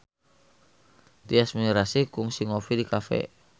Tyas Mirasih kungsi ngopi di cafe